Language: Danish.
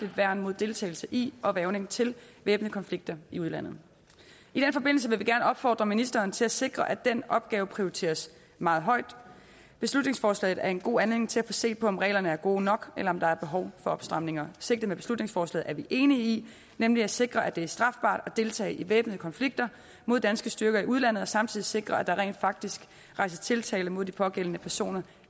værn mod deltagelse i og hvervning til væbnede konflikter i udlandet i den forbindelse vil vi gerne opfordre ministeren til at sikre at den opgave prioriteres meget højt beslutningsforslaget er en god anledning til at få set på om reglerne er gode nok eller om der er behov for opstramninger sigtet med beslutningsforslaget er vi enige i nemlig at sikre at det er strafbart at deltage i væbnede konflikter mod danske styrker i udlandet og samtidig sikre at der rent faktisk rejses tiltale mod de pågældende personer